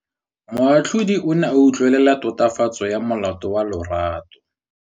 Moatlhodi o ne a utlwelela tatofatsô ya molato wa Lerato.